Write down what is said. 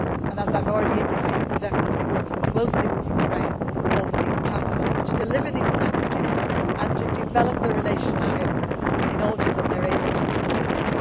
As I have already indicated, Štefan has been working closely with Ukraine over these past months to deliver these messages and to develop the relationship in order that they are able to move forward.